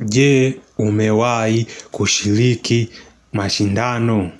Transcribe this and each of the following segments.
Je umewahi kushiriki mashindano?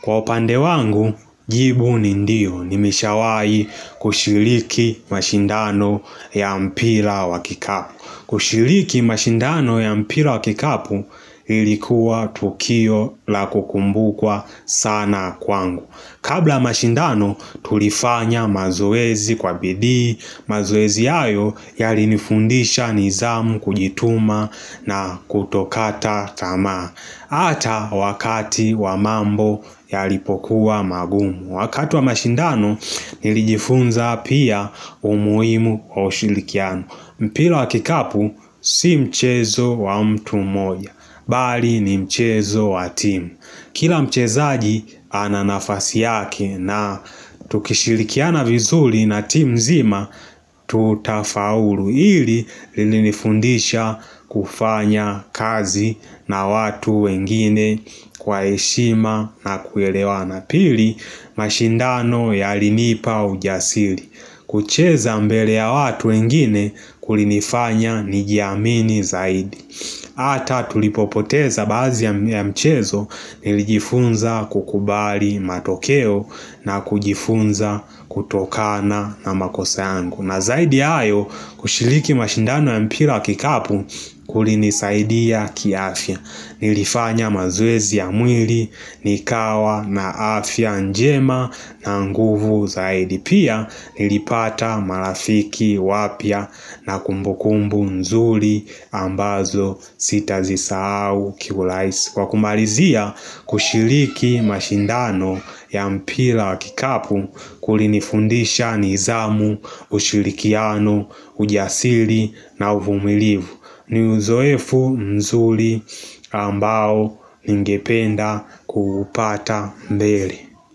Kwa upande wangu, jibu ni ndiyo. Nimeshawai kushiriki mashindano ya mpira wa kikapu. Kushiriki mashindano ya mpira wa kikapu ilikuwa tukio la kukumbukwa sana kwangu. Kabla mashindano tulifanya mazoezi kwa bidii, mazoezi hayo yalinifundisha nidhamu kujituma na kutokata tamaa hata wakati wa mambo yalipokuwa magumu Wakati wa mashindano nilijifunza pia umuhimu ushirikiano mpira wa kikapu si mchezo wa mtu mmoja, bali ni mchezo wa timu Kila mchezaji ananafasi yake na tukishirikiana vizuri na timu nzima tutafaulu hili lilinifundisha kufanya kazi na watu wengine kwa heshima na kuelewana, pili mashindano yalinipa ujasiri. Kucheza mbele ya watu wengine kulinifanya nijiamini zaidi Hata tulipopoteza baadhi ya mchezo nilijifunza kukubali matokeo na kujifunza kutokana na makosa yangu na zaidi ya hayo kushiriki mashindano ya mpira wa kikapu kulinisaidia kiafya Nilifanya mazoezi ya mwili nikawa na afya njema na nguvu zaidi Pia nilipata marafiki wapya na kumbukumbu nzuri ambazo sitazisahau kiurahisi Kwa kumalizia kushiriki mashindano ya mpira wa kikapu kulinifundisha nidhamu, ushirikiano, ujasiri na uvumilivu ni uzoefu mzuri ambao ningependa kuupata mbele.